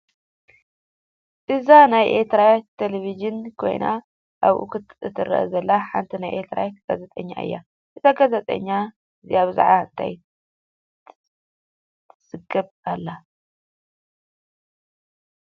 እዚ ናይ ኤርትራ ቴሌቭዥን ኮይኑ ኣብኡ እትረአ ዘላ ሓንቲ ናይ ኤርትራ ጋዜጠኛ እያ። እዛ ጋዜጠኛ እዚኣ ብዛዕባ እንታይ ትዝግብ ኣላ።